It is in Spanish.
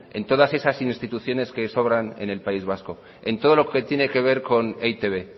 en todas esas instituciones que sobran en el país vasco en todo lo que tiene que ver con e i te be